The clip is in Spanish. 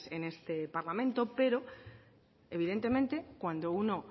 en este parlamento pero evidentemente cuando uno